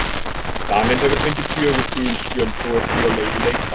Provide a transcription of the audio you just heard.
Daninn hefur fengið fjögur gul spjöld og er því á leið í leikbann.